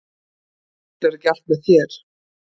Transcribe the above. Það fellur ekki allt með þér.